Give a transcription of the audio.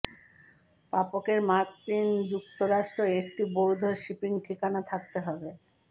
প্রাপকের মার্কিন যুক্তরাষ্ট্রে একটি বৈধ শিপিং ঠিকানা থাকতে হবে